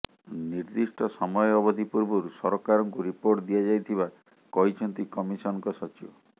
ନିର୍ଦ୍ଦିଷ୍ଟ ସମୟ ଅବଧି ପୂର୍ବରୁ ସରକାରଙ୍କୁ ରିପୋର୍ଟ ଦିଆଯାଇଥିବା କହିଛନ୍ତି କମିଶନଙ୍କ ସଚିବ